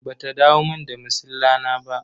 Ba ta dawo mun da masilla na ba.